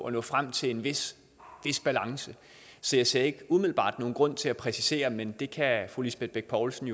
at nå frem til en vis balance så jeg ser ikke umiddelbart nogen grund til at præcisere men fru lisbeth bech poulsen